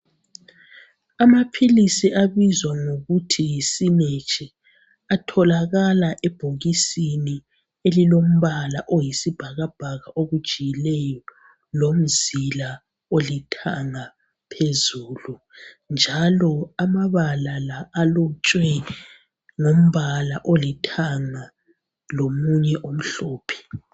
Amaphilisi abizwa ngokuthi yi sinecch atholakala ebhokisisni elilombala oyisibhakabhaka okujiyileyo lomzila olithanga phezulu , njalo amabala la alotshwe ngombala olithanga lomunye omhlophe.